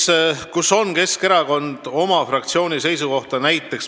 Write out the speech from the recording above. Ja kus on Keskerakonna fraktsioon seda seisukohta avaldanud?